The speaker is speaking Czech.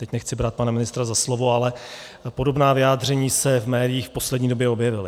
Teď nechci brát pana ministra za slovo, ale podobná vyjádření se v médiích v poslední době objevila.